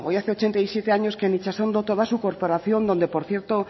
hace ochenta y siete años que en itsasondo toda su corporación donde por cierto